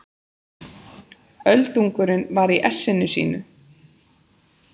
Öldungurinn var í essinu sínu.